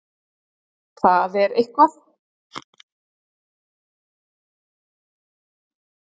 Það er eitthvað.